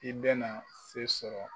I bɛ na se sɔrɔ.